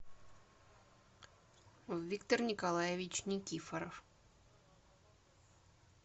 виктор николаевич никифоров